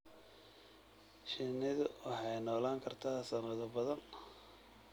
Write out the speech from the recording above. Shinnidu waxay noolaan kartaa sanado badan.